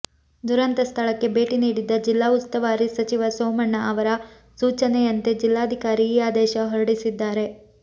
ದುರಂತ ಸ್ಥಳಕ್ಕೆ ಭೇಟಿ ನೀಡಿದ್ದ ಜಿಲ್ಲಾ ಉಸ್ತುವಾರಿ ಸಚಿವ ಸೋಮಣ್ಣ ಅವರ ಸೂಚನೆಯಂತೆ ಜಿಲ್ಲಾಧಿಕಾರಿ ಈ ಆದೇಶ ಹೊರಡಿಸಿದ್ದಾರೆ